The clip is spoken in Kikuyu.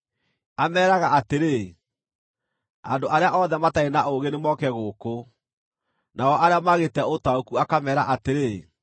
Ameeraga atĩrĩ, “Andũ arĩa othe matarĩ na ũũgĩ nĩmoke gũkũ!” Nao arĩa maagĩĩte ũtaũku akameera atĩrĩ: